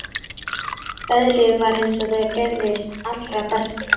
Veðrið var eins og það gerist allra best.